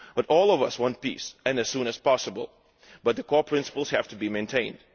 All of us want peace, and as soon as possible, but core principles have to be maintained.